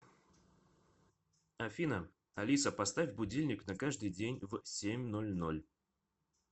афина алиса поставь будильник на каждый день в семь ноль ноль